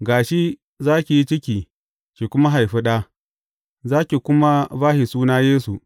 Ga shi za ki yi ciki ki kuma haifi ɗa, za ki kuma ba shi suna Yesu.